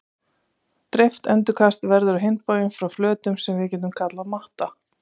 Dreift endurkast verður á hinn bóginn frá flötum sem við getum kallað matta.